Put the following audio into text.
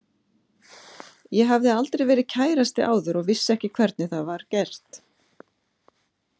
Ég hafði aldrei verið kærasti áður og vissi ekki hvernig það var gert.